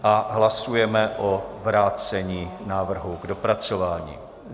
A hlasujeme o vrácení návrhu k dopracování.